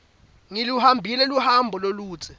ngiluhambile loluhambo loludze